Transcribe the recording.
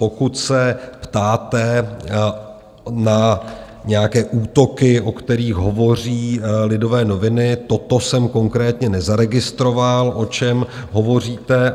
Pokud se ptáte na nějaké útoky, o kterých hovoří Lidové noviny, toto jsem konkrétně nezaregistroval, o čem hovoříte.